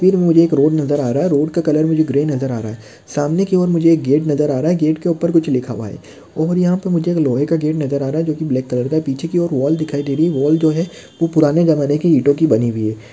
फिर मुझे एक रोड नज़र आ रहा है रोड का कलर मुझे ग्रे नज़र आ रहा है सामने की और मुझे एक गेट नज़र आ रहा है गेट के उपर कुछ लिखा हुआ है और यहा पे मुझे एक लोहे का गेट नज़र आ रहा है जो कि ब्लॅक कलर का है पिछे की और वॉल दिखाई दे रही वॉल जो है वो पुराने जमणे की ईटों की बनी हुई है।